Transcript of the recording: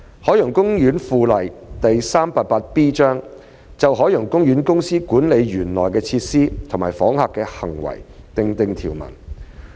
《海洋公園附例》就海洋公園公司管理園內的設施及訪客的行為訂定條文。